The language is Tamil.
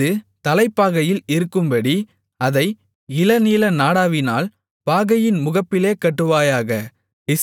அது தலைப்பாகையில் இருக்கும்படி அதை இளநீல நாடாவினால் பாகையின் முகப்பிலே கட்டுவாயாக